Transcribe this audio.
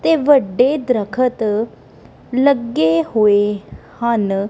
ਤੇ ਵੱਡੇ ਦਰਖਤ ਲੱਗੇ ਹੋਏ ਹਨ।